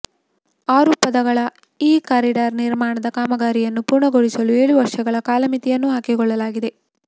ಆರು ಪಥಗಳ ಈ ಕಾರಿಡಾರ್ ನಿರ್ಮಾಣದ ಕಾಮಗಾರಿಯನ್ನು ಪೂರ್ಣಗೊಳಿಸಲು ಏಳು ವರ್ಷಗಳ ಕಾಲಮಿತಿಯನ್ನೂ ಹಾಕಿಕೊಳ್ಳಲಾಗಿದೆ